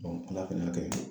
Ala fɛnɛ y'a kɛ